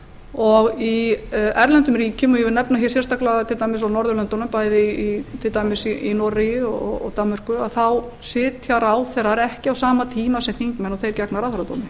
og í erlendum ríkjum og ég vil nefna sérstaklega til dæmis á norðurlöndunum bæði til dæmis í noregi og danmörku sitja ráðherrar ekki á sama tíma sem þingmenn og þeir gegna ráðherradómi